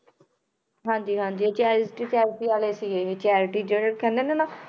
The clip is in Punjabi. ਹਾਂਜੀ ਹਾਂਜੀ charity charity ਵਾਲੇ ਸੀ ਇਹ charity ਜਿਹੜੇ ਕਹਿੰਦੇ ਨੇ ਨਾ